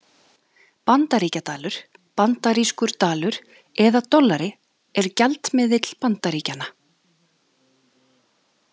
Bandaríkjadalur, bandarískur dalur eða dollari er gjaldmiðill Bandaríkjanna.